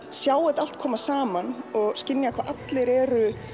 sjá allt koma saman og skynja hvernig allir eru